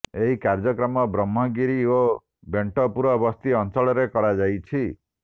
ଏହି କାର୍ଯ୍ୟକ୍ରମ ବ୍ରହ୍ମଗିରି ଓ ବେଣ୍ଟପୁର ବସ୍ତି ଅଞ୍ଚଳରେ କରାଯାଇଛି